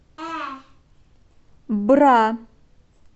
бра